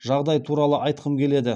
жағдай туралы айтқым келеді